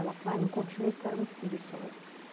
Ela e não continuei porque eu era muito preguiçosa.